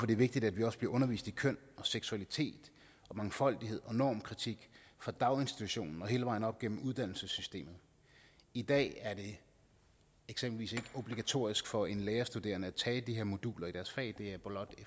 det vigtigt at vi også bliver undervist i køn og seksualitet og mangfoldighed og normkritik fra daginstitutionen og hele vejen op gennem uddannelsessystemet i dag er det eksempelvis ikke obligatorisk for en lærerstuderende at tage de her moduler i deres fag det er blot